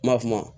Ma kuma